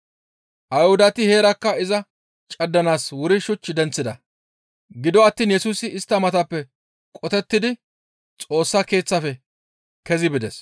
Ayhudati heerakka iza caddanaas wuri shuch denththida; gido attiin Yesusi istta matappe qotettidi Xoossa Keeththafe kezi bides.